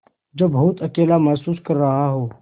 जो बहुत अकेला महसूस कर रहा हो